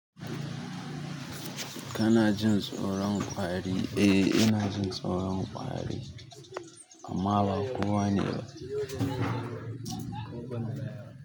Kana jin tsoron ƙwari? Eh ina jin tsoron ƙwari. Amma ba kowa ne ba.